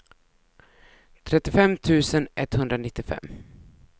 trettiofem tusen etthundranittiofem